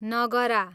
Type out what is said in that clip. नगरा